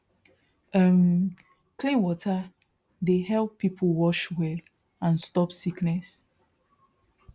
um clean water dey help people wash well and stop sickness